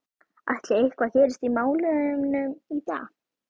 Ætli eitthvað gerist í málunum í dag?